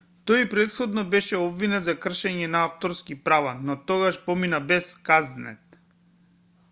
тој и претходно беше обвинет за кршење на авторски права но тогаш помина без казнет